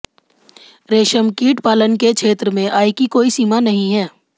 रेशम कीट पालन के क्षेत्र में आय की कोई सीमा नहीं है